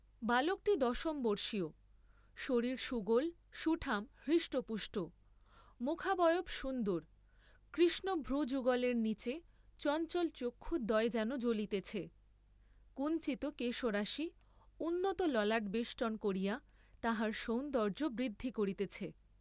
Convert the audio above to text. বালকটি দশমবর্ষীয়, শরীর সুগোল সুঠাম হৃষ্টপুষ্ট, মুখাবয়ব সুন্দর, কৃষ্ণ ভ্রযুগলের নীচে চঞ্চল চক্ষুদ্বয় যেন জ্বলিতেছে, কুঞ্চিত কেশরাশি উন্নত ললাট বেষ্টন করিয়া তাহার সৌন্দর্য্য বৃদ্ধি করিতেছে।